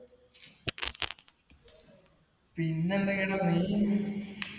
പിന്നെന്തൊക്കെയുണ്ടെടാ .